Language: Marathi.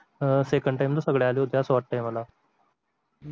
second time ला सगळे आले होते असं वाटतंय मला